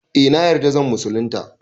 Eh na yarda zan musulunta